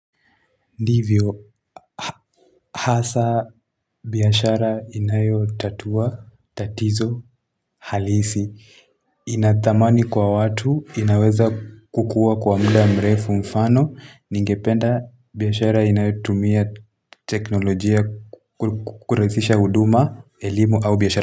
Ndivyo hasa biashara inayotatua tatizo halisi ina thamani kwa watu, inaweza kukua kwa muda mrefu mfano. Ningependa biashara inayotumia teknolojia kurahisisha huduma, elimu au biashara.